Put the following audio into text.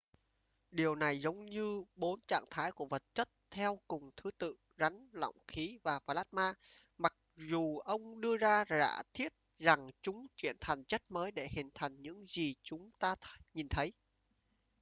điều này giống như bốn trạng thái của vật chất theo cùng thứ tự: rắn lỏng khí và plasma mặc dù ông đưa ra giả thuyết rằng chúng chuyển thành chất mới để hình thành những gì chúng ta nhìn thấy